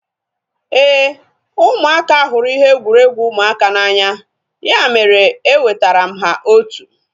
Éè, ụmụaka hụrụ ihe egwuregwu ụmụaka n'anya ya mere e wetara m ha otu